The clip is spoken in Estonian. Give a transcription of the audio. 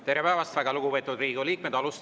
Tere päevast, väga lugupeetud Riigikogu liikmed!